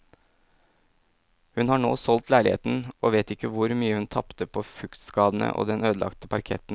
Hun har nå solgt leiligheten, og vet ikke hvor mye hun tapte på fuktskadene og den ødelagte parketten.